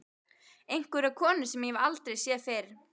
Einhverja konu sem ég hef aldrei séð fyrr.